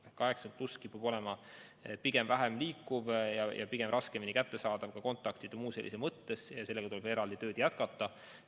80+ vanuserühm kipub olema vähem liikuv ja raskemini kättesaadav ka kontaktide mõttes, nii et sellega tuleb eraldi tööd jätkata.